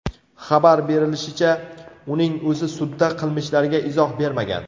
Xabar berishlaricha, uning o‘zi sudda qilmishlariga izoh bermagan.